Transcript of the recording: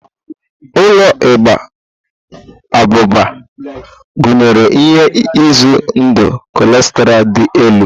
Ụlọ Igba abụba gụnyere ihe ize ndụ kolesterọ dị elu.